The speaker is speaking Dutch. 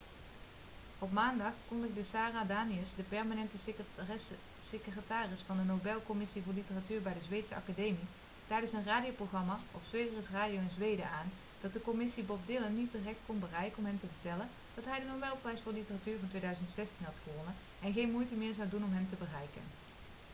op maandag kondigde sara danius de permanente secretaris van de nobelcommissie voor literatuur bij de zweedse academie tijdens een radioprogramma op sveriges radio in zweden aan dat de commissie bob dylan niet direct kon bereiken om hem te vertellen dat hij de nobelprijs voor literatuur van 2016 had gewonnen en geen moeite meer zou doen om hem te bereiken